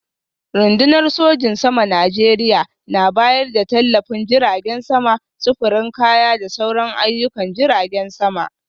Rundunar sojin saman Najeriya na bayar da tallafin jiragen sama, sufurin kaya da sauran ayyukan jiragen sama.